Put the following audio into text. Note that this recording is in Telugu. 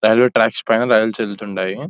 రైల్వే ట్రాక్స్ పైన రైలు వచ్చి వెళుతుంటాయి .